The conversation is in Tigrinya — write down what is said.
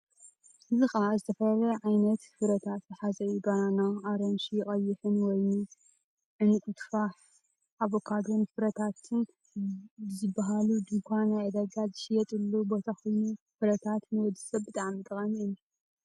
እዚ ኸኣ እተፈላለየ ዓይነት ፍረታት ዝሓዘ እዩ። ባናና፤ ኣራንሺ፤ ቀይሕን፤ ወይኒ፤ ዕንቊቱፋሕ፤ ኣቮካዶን ፍረታት ዝብሃል ድኳን ናይ ዕዳጋ ዝሽየጠሉ ቦታ ኮይኑ ፍረምረታት ንወድሰበ ብጣዕሚ ጠቃሚ እዩ።